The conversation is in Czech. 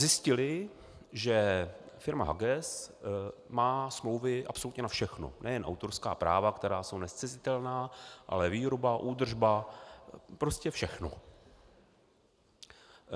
Zjistili, že firma Haguess má smlouvy absolutně na všechno, nejen autorská práva, která jsou nezcizitelná, ale výroba, údržba, prostě všechno.